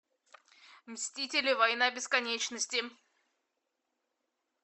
мстители война бесконечности